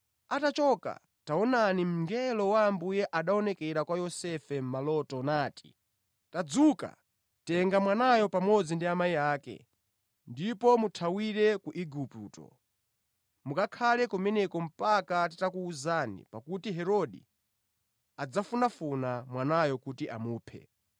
Atachoka, taonani mngelo wa Ambuye anaonekera kwa Yosefe mʼmaloto nati, “Tadzuka, tenga mwanayo pamodzi ndi amayi ake ndipo muthawire ku Igupto. Mukakhale kumeneko mpaka nditakuwuza pakuti Herode adzafunafuna mwanayo kuti amuphe.”